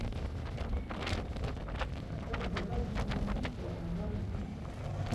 поставь загадочные убийства агаты кристи